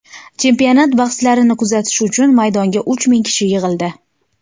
Chempionat bahslarini kuzatish uchun maydonga uch ming kishi yig‘ildi.